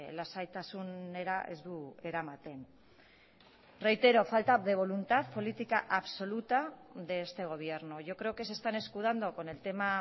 lasaitasunera ez du eramaten reitero falta de voluntad política absoluta de este gobierno yo creo que se están escudando con el tema